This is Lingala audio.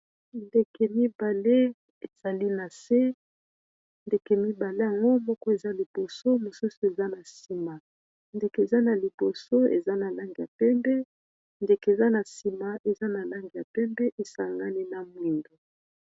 Ndeke mibale ezali na se ndeke mibale yango moko eza liboso mosusu eza na nsima ndeke eza na liboso eza na langi ya pembe ndeke eza na nsima eza na langi ya pembe esangani na mwindo.